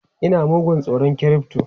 Ina mugun tsoron crypto!